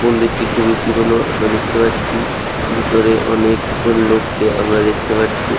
মন্দিরটি খুবই পুরনো আমরা দেখতে পাচ্ছি ভিতরে অনেক জন লোক কে আমরা দেখতে পারছি।